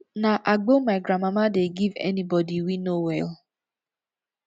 na agbo my grandmama dey give anybodi we no well